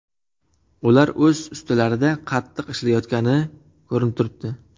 Ular o‘z ustilarida qattiq ishlashayotgani ko‘rinib turibdi.